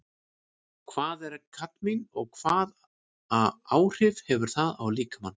Hvað er kadmín og hvaða áhrif hefur það á líkamann?